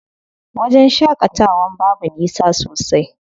Wajen shaƙatawan babu nisa sosai.